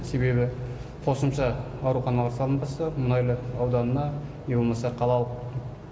себебі қосымша ауруханалар салынбаса мұнайлы ауданына не болмаса қалалық